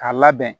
K'a labɛn